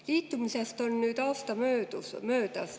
Liitumisest on nüüd aasta möödas.